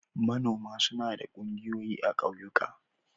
Manoma suna da ƙungiyoyi a ƙauyuka.